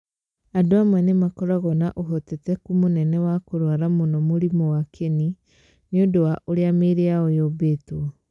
Andũ amwe nĩ makoragwo na ũhotekeku mũnene wa kũrwara mũno mũrimũ wa kĩni nĩ ũndũ wa ũrĩa mĩĩrĩ yao yũmbĩtwo.